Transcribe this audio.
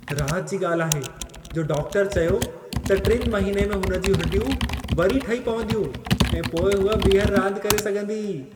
राहत जी ॻाल्हि आहे जो डाक्टर चयो त 3 महीने में हुन जूं हॾियूं वरी ठही पवंदियूं ऐं पोइ हूअ ॿिहर रांदि करे सघंदी।